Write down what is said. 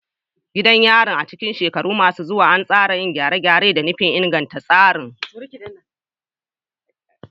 Gidan yarin, a cikin shekaru masu zuwa, ana sa ran yin gyare-gyare da nufin inganta tsarin